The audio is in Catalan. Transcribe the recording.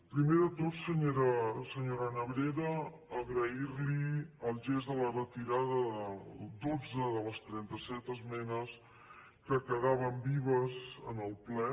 primer de tot senyora nebrera agrair li el gest de la retirada de dotze de les trenta set esmenes que quedaven vives en el ple